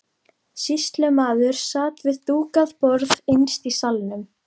Sýslumaður sat við dúkað borð innst í salnum.